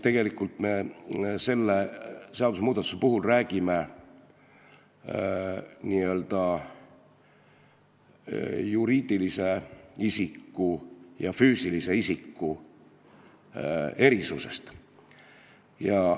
Tegelikult me räägime selle seadusmuudatuse puhul juriidilise isiku ja füüsilise isiku erisusest.